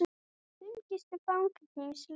Fimm gistu fangageymslur